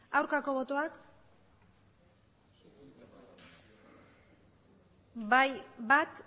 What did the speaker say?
aurkako botoak bai bat